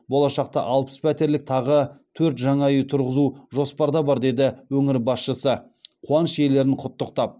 болашақта алпыс пәтерлік тағы төрт жаңа үй тұрғызу жоспарда бар деді өңір басшысы қуаныш иелерін құттықтап